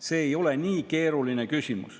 See ei ole nii keeruline.